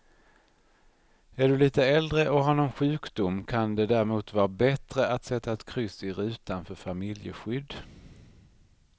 Är du lite äldre och har någon sjukdom kan det därmot vara bättre att sätta ett kryss i rutan för familjeskydd.